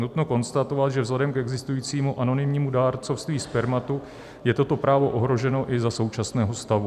Nutno konstatovat, že vzhledem k existujícímu anonymnímu dárcovství spermatu je toto právo ohroženo i za současného stavu.